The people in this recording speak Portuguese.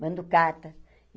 Mando carta.